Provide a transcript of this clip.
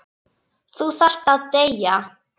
Þú þarft að deyja.